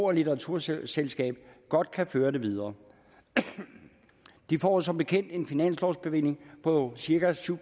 og litteraturselskab godt kan føre det videre de får som bekendt en finanslovsbevilling på cirka syv